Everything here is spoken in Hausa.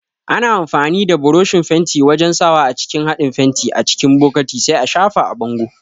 Ana amfani da buroshin fenti wajan sawa a cikin haɗin fenti a cikin bokati sai a shafa a bango